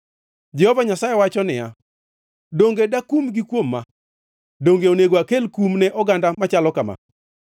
Jehova Nyasaye wacho niya, “Donge dakumgi kuom ma?” Donge onego akel kum ne oganda machalo kama?